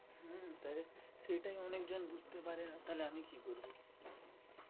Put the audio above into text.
হম তাহলে সেটাই অনেকজন বুঝতে পারে না তাহলে আমি কি করবো?